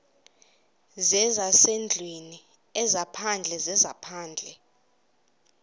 zezasendlwini ezaphandle zezaphandle